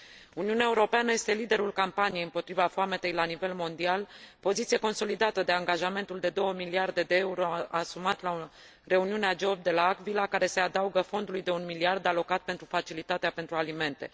Uniunea Europeană este liderul campaniei împotriva foametei la nivel mondial, poziție consolidată de angajamentul de 2 miliarde de euro, asumat la reuniunea G8 de la L'Aquila, care se adaugă fondului de 1 miliard alocat pentru facilitatea pentru alimente.